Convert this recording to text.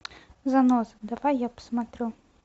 заноза давай я посмотрю